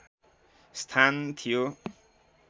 स्थान थियो